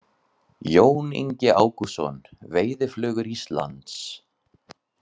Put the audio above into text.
Jón Ingi Ágústsson, Veiðiflugur Íslands.